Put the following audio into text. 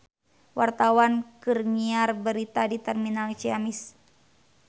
Wartawan keur nyiar berita di Terminal Ciamis